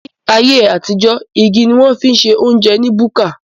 Ní ayé àtijó, igi ni wón fi ń se óúnjẹ ní búkà